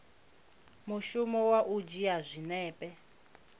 mushumo wa u dzhia zwinepe